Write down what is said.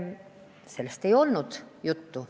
Sellest ei olnud juttu.